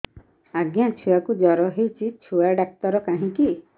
ଆଜ୍ଞା ଛୁଆକୁ ଜର ହେଇଚି ଛୁଆ ଡାକ୍ତର କାହିଁ କି